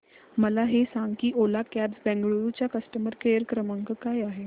मला हे सांग की ओला कॅब्स बंगळुरू चा कस्टमर केअर क्रमांक काय आहे